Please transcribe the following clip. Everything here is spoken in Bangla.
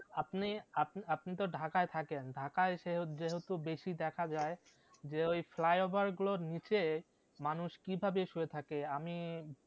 আপনি আপ আপনি ঢাকায় থাকেন ঢাকায় সে যেহেতু বেশি দেখা যায়, যে ওই flyover গুলোর নিচে মানুষ কি ভাবে শুয়ে থাকে আমি